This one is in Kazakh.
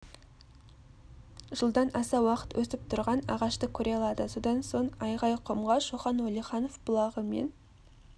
жылдан аса уақыт өсіп тұрған ағашты көре алады содан соң айғайқұмға шоқан уәлиханов бұлағы мен